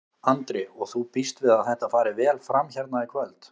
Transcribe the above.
Andri: Og þú býst við að þetta fari vel fram hérna í kvöld?